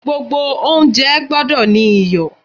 Gbogbo oúnjẹ gbọ́dọ̀ ní iyọ̀.